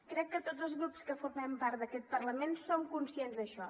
crec que tots els grups que formem part d’aquest parlament som conscients d’això